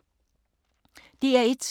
DR1